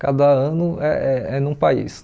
Cada ano é é é num país.